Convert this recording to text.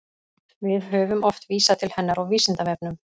Við höfum oft vísað til hennar á Vísindavefnum.